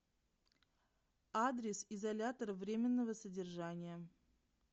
адрес изолятор временного содержания